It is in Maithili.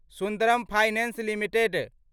Sundaram Finance limited